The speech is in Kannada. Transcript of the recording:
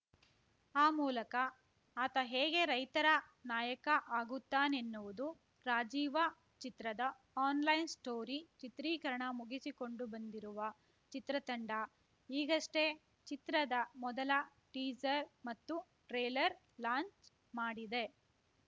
ಆ ಮೂಲಕ ಆತ ಹೇಗೆ ರೈತರ ನಾಯಕ ಆಗುತ್ತಾನೆನ್ನುವುದು ರಾಜೀವ ಚಿತ್ರದ ಆನ್‌ಲೈನ್‌ ಸ್ಟೋರಿ ಚಿತ್ರೀಕರಣ ಮುಗಿಸಿಕೊಂಡು ಬಂದಿರುವ ಚಿತ್ರತಂಡ ಈಗಷ್ಟೇ ಚಿತ್ರದ ಮೊದಲ ಟೀಸರ್ ಮತ್ತು ಟ್ರೇಲರ್ ಲಾಂಚ್‌ ಮಾಡಿದೆ